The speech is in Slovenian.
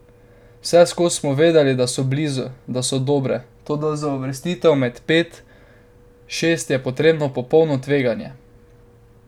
Vseskozi smo vedeli, da so blizu, da so dobre, toda za uvrstitev med pet, šest je potrebno popolno tveganje.